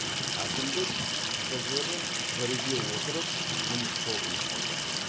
әкімдік қтж мен біріге отырып жұмыс тобын құрды